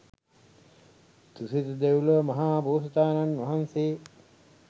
තුසිත දෙව්ලොව මහා බෝසතාණන් වහන්සේ